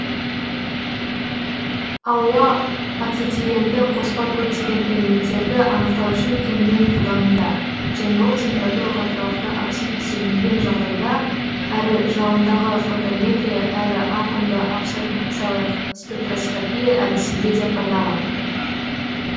ауа ацетиленді қоспа көптеген элементтерді анықтау үшін кеңінен қолдануда және ол температураға тұрақты оксид түзілмеген жағдайда әрі жалындағы фотометрия әрі атомды абсорбциялық спектроскопия әдісінде де пайдалы